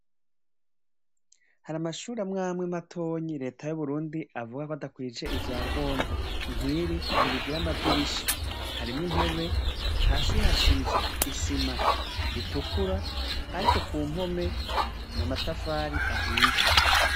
Har' amashur' amw' amwe matonyi Leta yu Burundi avuga k' adakwij' ivyangombwa, nkiri ntirigir' amadirisha harimw' intebe hasi hasiz' isima itukura, ariko kumpome n'amatafar' ahiye.